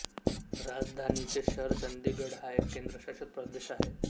राजधानीचे शहर चंदिगड हा एक केंद्रशासित प्रदेश आहे